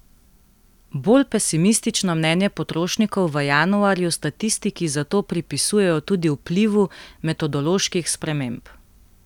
Bolj pesimistično mnenje potrošnikov v januarju statistiki zato pripisujejo tudi vplivu metodoloških sprememb.